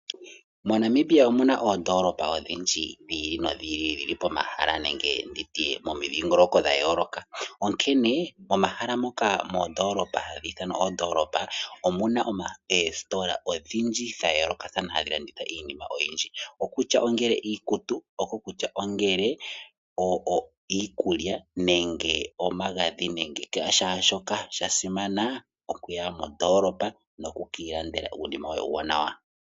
MoNamibia omu na oondoolopa odhindji dhi ili nodhi ili dhi li pomahala nenge momidhingoloko dha yooloka, onkene momahala ngoka haga ithanwa oondoolopa omu na oositola odhindji dha yoolokathana hadhi landitha iinima oyindji ngaashi iikutu, iikulya nenge omagadhi nashaashoka. Sha simana okuya mondoolopa noku ka ilandela uunima woye uuwaanawa.